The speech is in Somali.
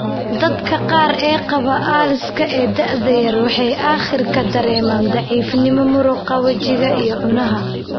Dadka qaar ee qaba ALS ee da'da yar, waxay aakhirka dareemaan daciifnimo muruqa wejiga iyo cunaha.